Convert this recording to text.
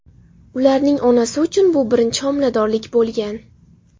Ularning onasi uchun bu birinchi homiladorlik bo‘lgan.